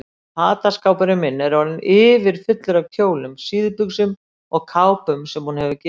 Fataskápurinn minn er orðinn yfirfullur af kjólum, síðbuxum og kápum sem hún hefur gefið mér.